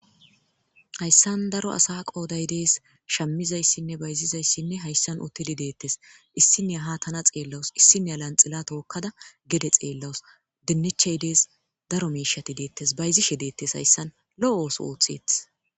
Haysan daro asa qooday de'es shamiya shamizaysine bayzizasi haysan uthidi deetes issiniya ha tana xeelawusu issiniya lanxila tookada gede xeelawusu diniche de'es daro miishati deetes bayzishe deetes haysan lo'o ooso oothetes.